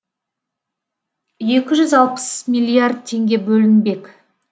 екі жүз алпыс миллиард теңге бөлінбек